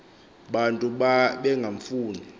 bantu ba bengamfuni